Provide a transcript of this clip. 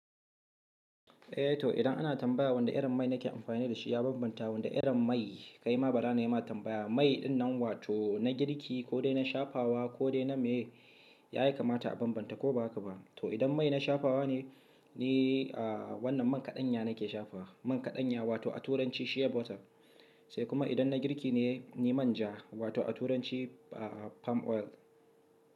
Eh to idan ana tambaya wanda irin mai nake amfani da shi ya banbanta da wani irin mai, kai ma bara nayi ma tambaya. Mai ɗin nan wato na girki ko dai na shafawa ko dai na me ya yi kamata a banbanta ko ba haka ba. To idan mai na shafawa ne, ni a wannan man kaɗanya nake shafawa. Man kaɗanya wato a turanci Shea butter. Sai kuma idan na girki ne, ni manja wato a turanci a palm oil.